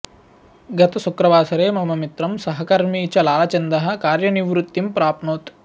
गत शुक्रवासरे मम मित्रं सहकर्मी च लालचन्दः कार्यनिवृत्तिं प्राप्नोत्